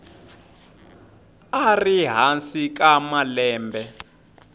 a ri hansi ka malembe